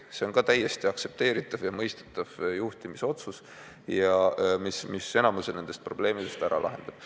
See on täiesti aktsepteeritav ja mõistetav juhtimisotsus, mis enamiku probleemidest võib ära lahendada.